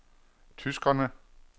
tyskerne